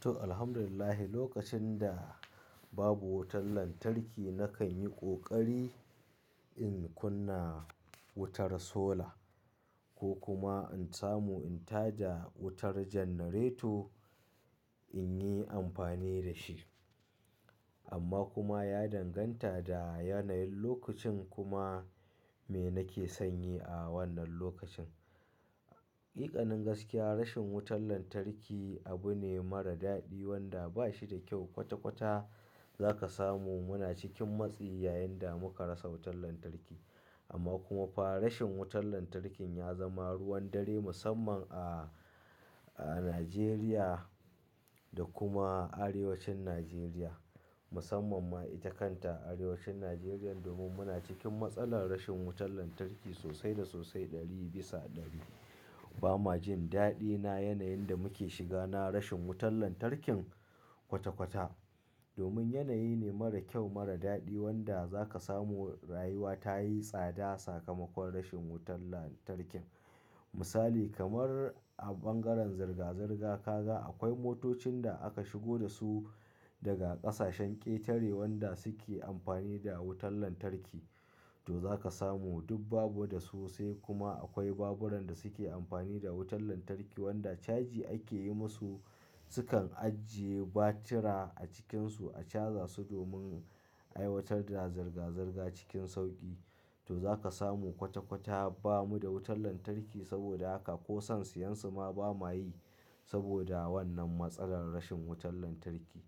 To, Alhamdulillahi lokacin da babu wutar lantarki nakan yi ƙoƙari in kunna wutar sola ko kuma in samu, in tada wutar janareto in yi amfani da shi. Amma kuma ya danganta da yanayin lokacin kuma me nake sanyei a wannan lokacin. Hakikanin gaskiya, rashin wutar lantarki abu ne mara daɗi wanda bashi da kyau. Kwata-kwata za ka samu muna cikin matsi yayin da muka rasa wutar lantarki. Amma kuma fa rashin wutar lantarkin ya zama ruwan dare musamman a, a Najeriya da kuma arewacin Najeriya. Musamman ma ita kanta arewacin Najeriyan domin muna cikin matsalar rashin wutar lantarki sosai da sosai ɗari bisa ɗari. Ba ma jin daɗi na yanayin da muke shiga na rashin wutar lantarkin kwata-kwata domin yanayi ne mara kyau, mara daɗi wanda za ka samu rayuwa ta yi tsada sakamakon rashin wutar lantarkin. Misali kamar a ɓangaren zirga-zirga ka ga akwai motocin da aka shigo da su daga ƙasashen ƙetare wanda suke amfani da wutar lantarki. To za ka samu duk bamu da su sai kuma akwai baburan da suke amfani da wutar lantarki wanda caji ake yi musu, sukan ajiye batira a cikinsu a caza su domin aiwatar da zirga-zirga cikin sauƙi. To za ka samu kwata-kwata bamu da wutar lantarki saboda haka ko son siyan su ma ba mayi saboda wannan matsalar rashin wutar lantarki.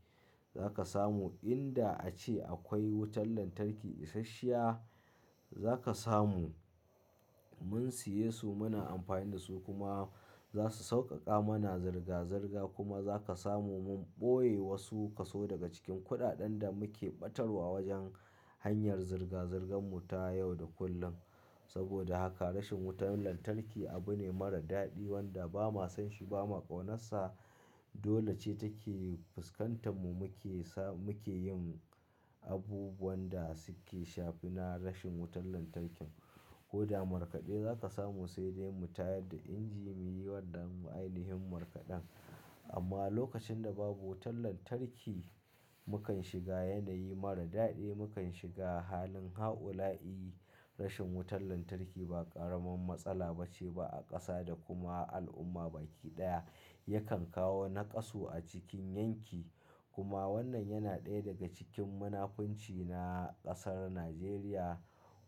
Za ka samu in da a ce akwai wutar lantarki isasshiya, za ka samu mun siye su muna amfani da su kuma za su sauƙaƙa mana zirga-zirga kuma za ka samu mun ɓoye wasu kaso daga cikin kuɗaɗen da muke ɓatarwa wajen hanyar zirga-zirgan mu ta yau da kullum. Saboda haka rashin wutar lantarki abu ne mara daɗi wanda ba ma san shi ba ma ƙaunarsa. Dole ce take fuskantar mu muke sa, muke yin abubuwan da suke shafi na rashin wutar lantarkin. Ko da markaɗe za ka samu sai dai mu tayar da inji muyi wannan ainihin markaɗen. Amma lokacin da babu wutar lantarki, mu kan shiga yanayi mara daɗi. Mu kan shiga halin haula'i. Rashin wutar lantarki ba ƙaramin matsala bace ba a ƙasa da kuma al'umma baki ɗaya yakan kawo naƙasu a cikin yanki. Kuma wannan yana ɗaya daga cikin munafunci na ƙasar Najeriya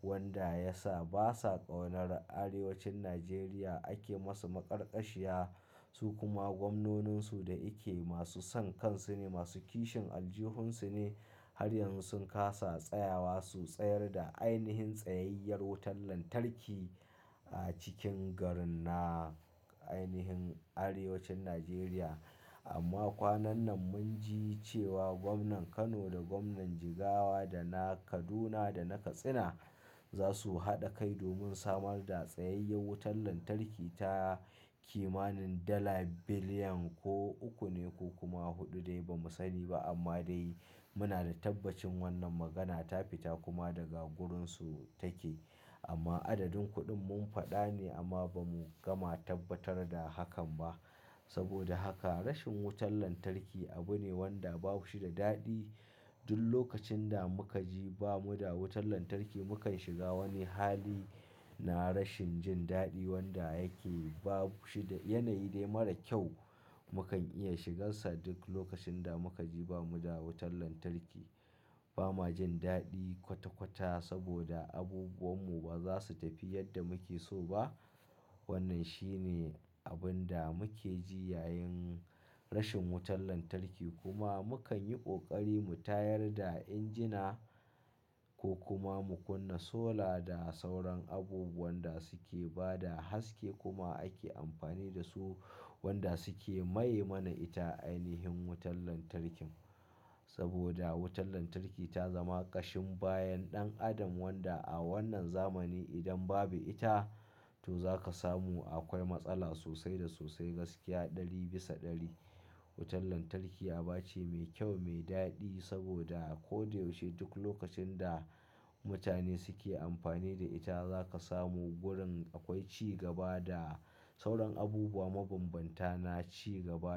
wanda ya sa basa ƙaunar arewacin Najeriya ake musu maƙarƙashiya su kuma gwamnonin su da yake masu son kansu ne, masu kishin aljihun su ne. Har yanzu sun ƙasa tsayawa su tsayar da ainihin tsayayyar wutar lantarki a cikin garin na ainihin arewacin Najeriya. Amma kwanan nan mun ji cewa gwamnan Kano da gwamnan Jigawa da na Kaduna da na Katsina za su haɗa kai domin samar da tsayayyar wutar lantarki ta kimanin dala billion ko uku ne ko kuma huɗu dai bamu sani ba. Amma dai muna da tabbacin wannan magana ta fita kuma daga gurin su take. Amma adadin kuɗin mun faɗa ne amma ba mu gama tabbatar da hakan ba. Saboda haka rashin wutar lantarki abu ne wanda ba shi da daɗi. Duk lokacin da muka ji bamu da wutar lantarki mu kan shiga wani hali na rashin jin daɗi wanda yake babu shi da yanayi dai mara kyau. Mu kan iya shigansa duk lokacin da muka ji bamu da wutar lantarki. Ba ma jin daɗi kwata-kwata saboda abubuwan mu ba za su tafi yadda muke so ba. Wannan shi ne abun da muke ji yayin rashin wutar lantarki kuma mu kan yi ƙoƙari mu tayar da injina ko kuma mu kunna sola da sauran abubuwan da suke ba da haske kuma ake amfani da su wanda suke maye mana ita ainihin wutar lantarkin. Saboda wutar lantarki ta zama ƙashin bayan ɗan adam wanda a wannan zamani idan babu ita to za ka samu akwai matsala sosai da sosai gaskiya ɗari bisa ɗari. Wutar lantarki aba ce mai kyau, mai daɗi saboda ko da yaushe duk lokacin da mutane suke amfani da ita za ka samu gurin akwai cigaba da sauran abubuwa mabanbanta na cigaba.